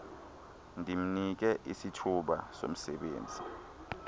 ndimnike isithuba somsebenzi